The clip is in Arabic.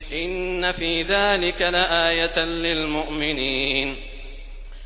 إِنَّ فِي ذَٰلِكَ لَآيَةً لِّلْمُؤْمِنِينَ